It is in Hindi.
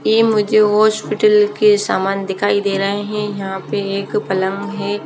ये मुझे हॉस्पिटल के सामान दिखाई दे रहे है यहाँ पे एक पलंग है।